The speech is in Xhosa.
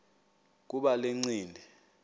kuba le ncindi